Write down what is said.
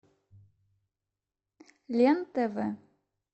лен тв